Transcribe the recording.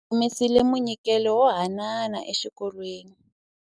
Va humesile munyikelo wo haanana exikolweni.